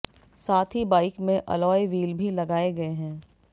साथ ही बाइक में अलॉय व्हील भी लगाए गए हैं